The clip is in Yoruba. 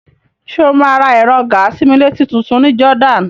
Ṣé o máa ra ẹ̀rọ gàa-sí-mí-létí tutun ní Jordan?